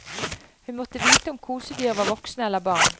Hun måtte vite om kosedyr var voksne eller barn.